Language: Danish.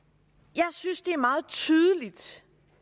jeg synes det er meget tydeligt